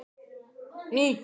Hvaða áhyggjur eru þetta?